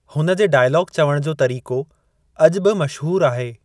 हुन जे डायलॉग चवण जो तरीक़ो अॼु बि मशहूरु आहे।